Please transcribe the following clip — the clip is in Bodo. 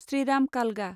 श्रीराम कालगा